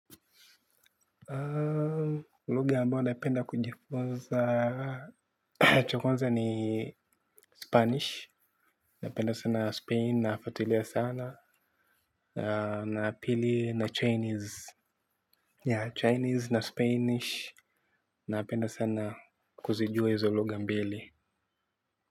Lugha ambao napenda kujifunza cha kwanza ni spanish. Napenda sana Spain na fuatilia sana. Na pili ya chinese, chinese na spanish napenda sana kuzijua hizo lugha mbili.